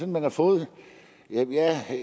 man har fået